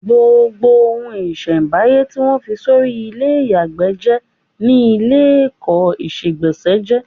Gbọ̀ngàn ohun-ìṣẹ̀m̀báyé tí wọ́n fi sọrí ilé ìyàgbẹ́ jẹ́ ni ilékọ̀ọ́ ìṣegbọ̀nsẹ̀ jé.